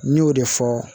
N y'o de fɔ